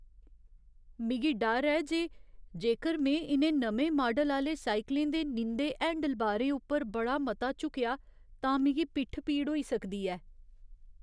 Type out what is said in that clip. मिगी डर ऐ जे जेकर में इ'नें नमें माडल आह्‌ले साइकलें दे नींदे हैंडलबारें उप्पर बड़ा मता झुकेआ तां मिगी पिट्ठ पीड़ होई सकदी ऐ।